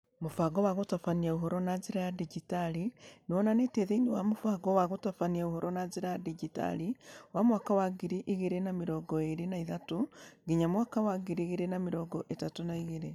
Mũbango wa gũtabania ũhoro na njĩra ya digitali nĩ wonanĩtio thĩinĩ wa mũbango wa gũtabania ũhoro na njĩra ya digitali wa mwaka wa ngiri igĩrĩ na mĩrongo ĩĩrĩ na ithatũ nginya mwaka wa ngiri igĩrĩ na mĩrongo ĩtatũ na igĩrĩ.